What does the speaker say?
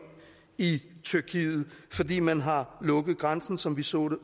i tyrkiet fordi man har lukket grænsen som vi så